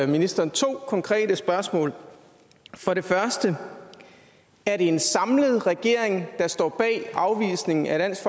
ministeren to konkrete spørgsmål for det første er det en samlet regering der står bag afvisningen af dansk